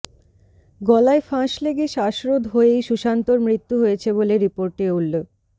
গলায় ফাঁস লেগে শ্বাসরোধ হয়েই সুশান্তর মৃত্যু হয়েছে বলে রিপোর্টে উল্ল